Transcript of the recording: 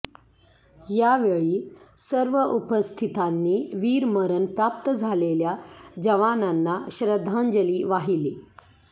यावेळी सर्व उपस्थितांनी वीरमरण प्राप्त झालेल्या जवानांना श्रध्दांजली वाहिली